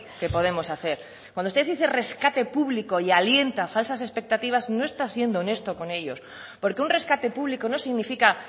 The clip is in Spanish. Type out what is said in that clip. que podemos hacer cuando usted dice rescate público y alienta falsas expectativas no está siendo honesto con ellos porque un rescate público no significa